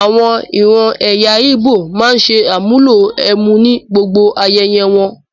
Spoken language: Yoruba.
Àwọn ìran ẹ̀yà íbò máa ń ṣe àmúlò ẹmu ni gbogbo ayẹyẹ wọn.